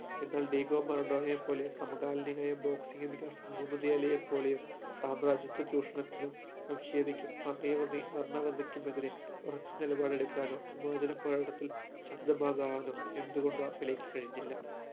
എന്നാൽ ഡീഗോ മറഡോണയെ പോലെ സമകാലീകനായ boxing ഇതിഹാസം മുഹമ്മദ് അലിയെ പോലെയോ സാമ്രാജ്യത്ത ചൂഷണത്തിനും വംശീയതയ്ക്കും അതേപടി വർണ്ണ പതിക്കുമെതിരെ ഉറച്ച നിലപാടെടുക്കാനോ വിമോചന പ്രകടനത്തിൽ ശബ്ദമാവാനോ എന്തുകൊണ്ടോ പെലെയ്ക്ക് കഴിഞ്ഞില്ല